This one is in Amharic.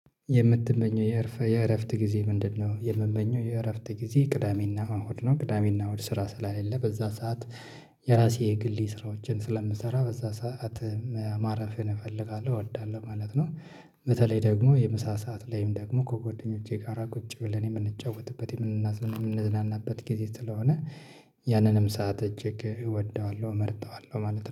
የምትመኘው የእረፍት ጊዜ ምንድነው? የምመኘው የእረፍት ጊዜ ቅዳሜና እሁድ ነው፤ ቅዳሜና እሁድ ስራ ስላለ በዛ ሰዓት የራሴ ግልይ ስራዎችን ስለምሰራ በዛ ሰዓት ማረፍን እፈልጋለሁ እወዳለሁ ማለት ነው፣ በተለይ ደግሞ የምሳ ሰዓት ላይም ደግሞ ከጎደኞቼ ጋራ ቁጭ ብለን የምንጫወትበት የምንዝናናበት ጊዜ ስለሆነ፣ ያንንም ሰዓት እጅግ እወደዋለሁ፣ እመርጠዋለሁ፣ ማለት ነው፣